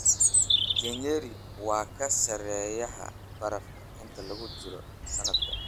je nyeri waa ka sarreeya baraf inta lagu jiro sanadka